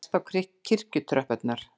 Ég sest á kirkjutröppurnar.